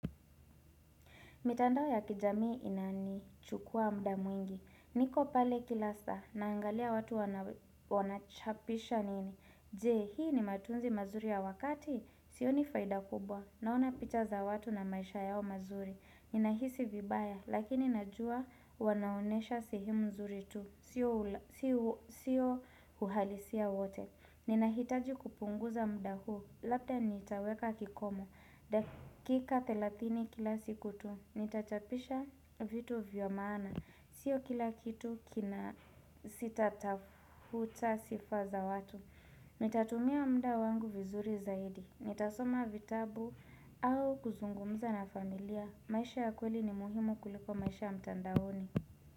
Mitandao ya kijamii inanichukua muda mwingi. Niko pale kila saa, naangalia watu wanachapisha nini. Je, hii ni matunzi mazuri ya wakati, sioni faida kubwa. Naona picha za watu na maisha yao mazuri. Nina hisi vibaya, lakini najua wanaonesha sehemu zuri tu. Sio uhalisia wote. Nina hitaji kupunguza muda huu, labda nitaweka kikomo. Dakika 30 kila siku tu. Nitachapisha vitu vya maana. Sio kila kitu kina sitatafuta sifa za watu. Nitatumia muda wangu vizuri zaidi. Nitasoma vitabu au kuzungumuza na familia. Maisha ya kweli ni muhimu kuliko maisha ya mtandaoni.